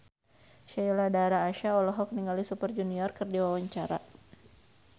Sheila Dara Aisha olohok ningali Super Junior keur diwawancara